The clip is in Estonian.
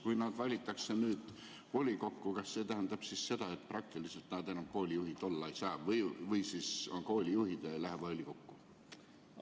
Kui nad valitakse volikokku, kas see tähendab seda, et praktiliselt nad enam koolijuhid olla ei saa või siis on koolijuhid ega lähe volikokku?